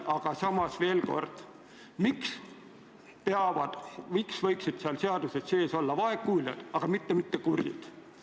Aga samas veel kord: miks võivad seal seaduses sees olla vaegkuuljad, aga mitte kurdid?